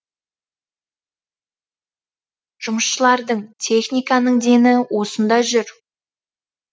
жұмысшылардың техниканың дені осында жүр